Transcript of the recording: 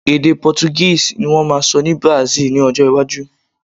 ede Portuguese ni wón ma sọ ni Brasil ni ọjọ iwaju